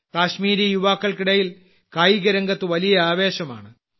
കാശ്മീരി യുവാക്കൾക്കിടയിൽ കായികരംഗത്ത് വലിയ ആവേശമാണ്